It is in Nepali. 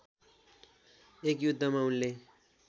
एक युद्धमा उनले